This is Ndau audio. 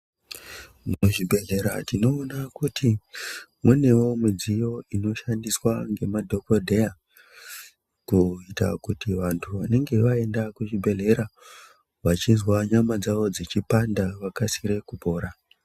Muzvibhehlera tinoona kuti munewo midziyo inoshandiswa ngemadhogodheya kuita kuti vantu vanenge vaenda kuzvibhedhlera vachizwa nyama dzavo dzichipanda vakasire kupora.